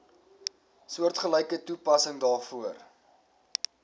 soortgelyke toepassing daarvoor